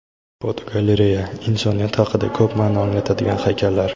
Fotogalereya: Insoniyat haqida ko‘p ma’no anglatadigan haykallar.